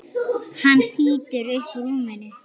Hann þýtur upp úr rúminu.